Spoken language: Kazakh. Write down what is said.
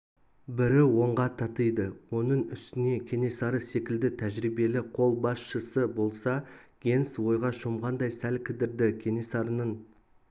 бірі онға татиды оның үстіне кенесары секілді тәжірибелі қолбасшысы болса генс ойға шомғандай сәл кідірді кенесарының